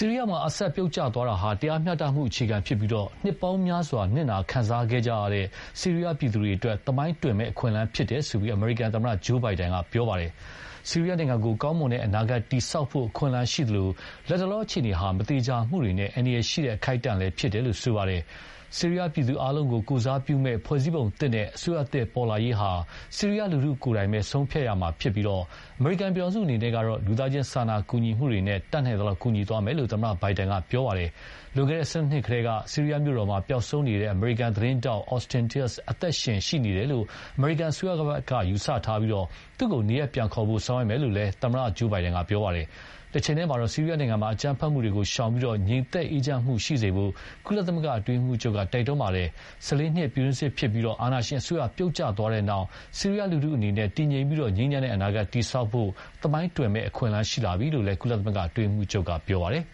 ီးရီးယားမှာ Assad ပြုတ်ကျသွားတာဟာ တရားမျှတမှု အခြေခံဖြစ်ပြီး နှစ်ပေါင်းများစွာနစ်နာခံစားကြရတဲ့ ဆီးရီးယားပြည်သူတွေအတွက် သမိုင်းတွင်မယ့် အခွင့်အလမ်းဖြစ်တယ်လို့ အမရိကန်သမ္မတ Joe Biden က ပြောပါတယ်။ ဆီးရီးယားနိုင်ငံကို ကောင်းမွန်တဲ့အနာဂတ်တည်ဆောက်ဖို့ အခွင့်အလမ်းရှိသလို၊ လတ်တလောအခြေအနေဟာ မသေချာမှုတွေနဲ့ အန္တရယ်ရှိတဲ့ အခိုက်အတန့်လည်းဖြစ်တယ်လို့ ပြောပါတယ်။ ဆီးရီးယားပြည်သူအားလုံးကို ကိုယ်စားပြုမယ့် ဖွဲ့စည်းပုံသစ်နဲ့ အစိုးရသစ်ပေါ်လာရေးဟာ ဆီးရီးယားလူထုကိုယ်တိုင်ပဲ ဆုံးဖြတ်ရမှာဖြစ်ပြီး၊ အမေရိကန်ပြည်ထောင်စုကတော့ လူသားချင်းစာနာကူညီမှုတွေနဲ့ တတ်နိုင်သလောက် ကူညီသွားမယ်လို့လည်း သမ္မတ ဘိုင်ဒန်က ပြောပါတယ်။ လွန်ခဲ့တဲ့ ၁၂ နှစ်ကတည်းက ဆီးရီးယားမြို့တော်မှာ ပျောက်ဆုံးနေခဲ့တဲ့ အမေရိကန်သတင်းထောက် Austin Tice အသက်ရှင်လျှက် ရှိနေတယ်လို့ အမေရိကန်အစိုးရက ယူဆထားပြီး၊ သူ့ကို နေရပ်ပြန်ခေါ်ဖို့ ဆောင်ရွက်မယ်လို့လည်း အမေရိကန်သမ္မတ Joe Biden က ပြောပါတယ်။ တချိန်တည်းမှာတော့ ဆီးရီးယားနိုင်ငံမှာ အကြမ်းဖက်မှုတွေကို ရှောင်ပြီး ငြိမ်သက်အေးချမ်းမှုရှိစေဖို့ ကုလသမဂ္ဂအတွင်းရေးမှုးချုပ်က တိုက်တွန်းပါတယ်။ ၁၄နှစ် ပြည်တွင်းစစ်ဖြစ်ပြီး အာဏာရှင်အစိုးရပြုတ်ကျသွားတဲ့နောက် ဆီးရီးယားလူထုအနေနဲ့ တည်ငြိမ်ပြီး ငြိမ်းချမ်းတဲ့အနာဂတ်တည်ဆောက်ဖို့ သမိုင်းတွင်မယ့် အခွင့်အလမ်းရှိလာပြီလို့လည်း ကုလ အတွင်းရေးမှုးချုပ်ကပြောပါတယ်